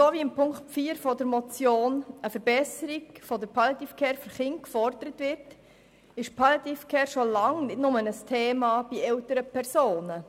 Wie unter Ziffer 4 der Motion eine Verbesserung der Palliative Care für Kinder gefordert wird, ist Palliative Care schon lange ein Thema, nicht nur bei älteren Personen.